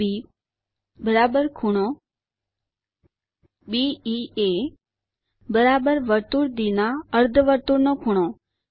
∠ADB ∠BEA વર્તુળ ડી ના અર્ધવર્તુળનો ખૂણો